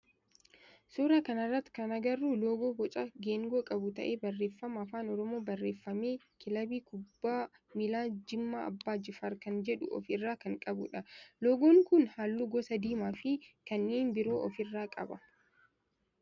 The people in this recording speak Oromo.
Suuraa kana irratti kan agarru loogoo boca geengoo qabu ta'ee barreeffama afaan oromoon barreeffame kilabii kubbaa miilaa jimmaa abbaa jifaar kan jedhu of irraa kan qabudha. Loogoon kun halluu gosa diimaa fi kanneen biroo of irraa qaba.